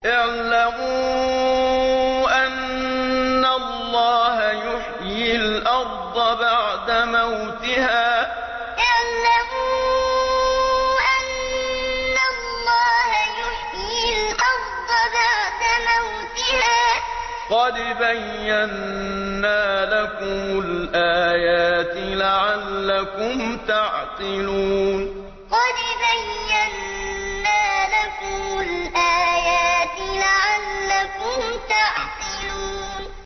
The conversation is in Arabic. اعْلَمُوا أَنَّ اللَّهَ يُحْيِي الْأَرْضَ بَعْدَ مَوْتِهَا ۚ قَدْ بَيَّنَّا لَكُمُ الْآيَاتِ لَعَلَّكُمْ تَعْقِلُونَ اعْلَمُوا أَنَّ اللَّهَ يُحْيِي الْأَرْضَ بَعْدَ مَوْتِهَا ۚ قَدْ بَيَّنَّا لَكُمُ الْآيَاتِ لَعَلَّكُمْ تَعْقِلُونَ